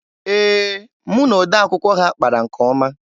Ee, mụ na odee akwụkwọ ha kpara nke ọma.